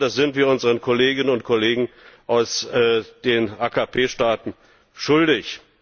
Das sind wir unseren Kolleginnen und Kollegen aus den AKP Staaten schuldig.